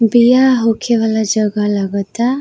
बियाह होखे वाला जगह लगाता।